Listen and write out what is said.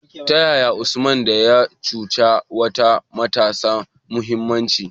Ta yaya Usman a da, ya cusa wa matasa muhimmancin?